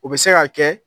O bɛ se ka kɛ